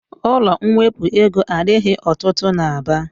Ụlọ mwepụ ego adịghị ọtụtụ n'Aba.